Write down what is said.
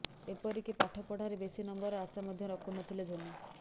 ଏପରିକି ପାଠ ପଢାରେ ବେଶି ନମ୍ବରର ଆଶା ମଧ୍ୟ ରଖୁନଥିଲେ ଧୋନି